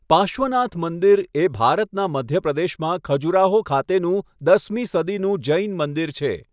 પાર્શ્વનાથ મંદિર એ ભારતના મધ્ય પ્રદેશમાં ખજુરાહો ખાતેનું દસમી સદીનું જૈન મંદિર છે.